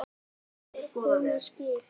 Er komið skip?